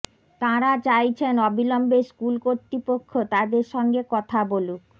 তাঁরা চাইছেন অবিলম্বে স্কুল কর্তৃপক্ষ তাঁদের সঙ্গে কথা বলুক